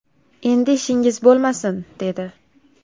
Endi ishingiz bo‘lmasin, dedi.